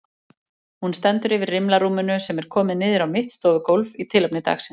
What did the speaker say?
Hún stendur yfir rimlarúminu sem er komið niður á mitt stofugólfið í tilefni dagsins.